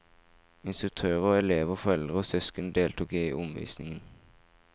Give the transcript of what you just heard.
Instruktører, elever, foreldre og søsken deltok i omvisning.